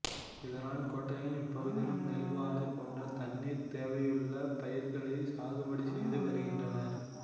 இதனால் கோடையிலும் இப்பகுதியில் நெல் வாழை போன்ற தண்ணீர் தேவையுள்ள பயிர்களை சாகுபடி செய்து வருகின்றனர்